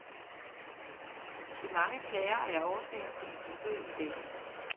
De mange klager er årsagen til mit besøg i dag.